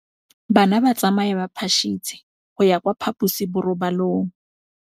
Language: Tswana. Bana ba tsamaya ka phašitshe go ya kwa phaposiborobalong.